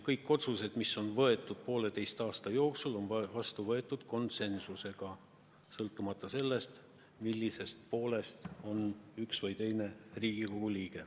Kõik otsused, mis on pooleteise aasta jooksul vastu võetud, on tehtud konsensusega, sõltumata sellest, milliselt poolelt on üks või teine Riigikogu liige.